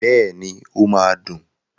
Bẹ́ẹ̀ni, ó máa dùn.